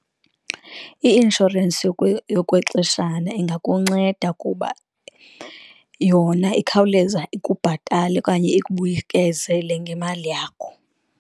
I-inshorensi yokwexeshana ingakunceda kuba yona ikhawuleza ikubhatale okanye ikubuyekezele ngemali yakho.